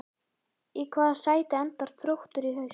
Í hvaða sæti endar Þróttur í haust?